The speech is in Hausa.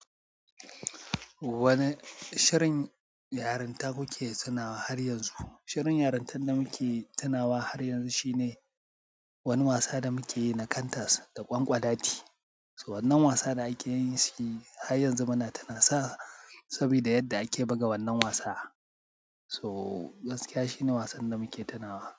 Wane shirin yarinta kuke tunawa har yanzu? Shirin yarintan da muke tunawa har yanzu shine wani wasa da muke yi na kantas da ƙwanƙwalati. So wannan wasa da ake yin shi har yanzu muna tuna sa saboda yadda ake buga wannan wasa. So gaskiya shi ne wasan da muke tunawa.